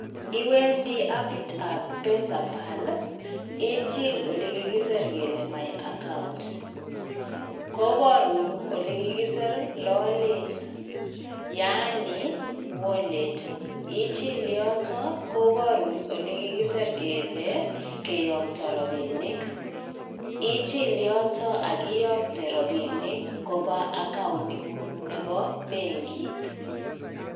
Iwendi appit ab pesapal ichil ole kikisir ole my account kobarun olekikisir lalet yaani wallet ichil yotok kobarun ole kokisir kele keyakta robinik ichil yotok akiyakte robinik koba accountiningung nebo bankit